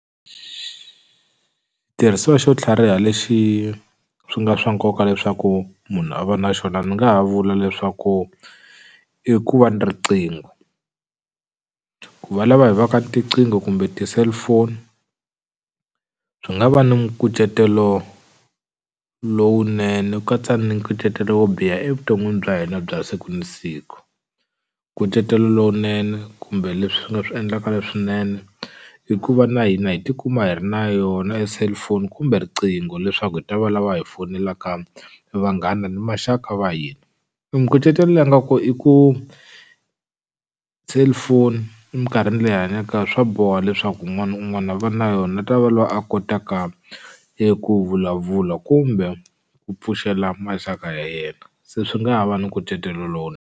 Xitirhisiwa xo tlhariha lexi swi nga swa nkoka leswaku munhu a va na xona ni nga ha vula leswaku i ku va ni riqingho ku va lava hi va ka ni tiqingho kumbe ti-cellphone swi nga va ni nkucetelo lowunene ku katsa ni nkucetelo wo biha evuton'wini bya hina bya siku ni siku nkucetelo lowunene kumbe leswi nga swi endlaka leswinene i ku va na hina hi tikuma hi ri na yona e cellphone kumbe riqingho leswaku hi ta valava hi fonelaka vanghana ni maxaka va hina e nkucetelo le a nga ko i ku cellphone eminkarhini leyi hi hanyaka ka yo swa boha leswaku un'wana ni un'wana a va na yo u ta va lwa a kotaka eku vulavula kumbe ku pfuxela maxaka ya yena se swi nga ha va ni nkucetelo .